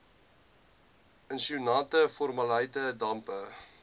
isosianate formaldehied dampe